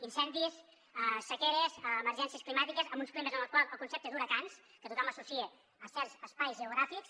incendis sequeres emergències climàtiques amb uns climes en els quals el concepte d’huracans que tothom associa a certs espais geogràfics